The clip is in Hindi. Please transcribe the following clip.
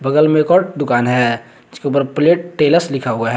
बगल में एक और दुकान है उसके ऊपर प्लेट टेलर्स लिखा हुआ है।